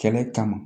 Kɛlɛ kama